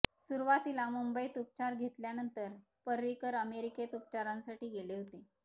सुरुवातीला मुंबईत उपचार घेतल्यानंतर पर्रिकर अमेरिकेत उपचारांसाठी गेले होते